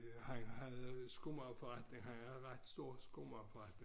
Han havde skomagerforretning han havde ret stor skomagerforretning